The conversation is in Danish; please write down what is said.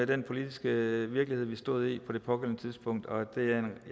den politiske virkelighed vi stod i på det pågældende tidspunkt og jeg